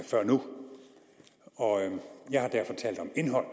før nu og jeg har derfor talt om indhold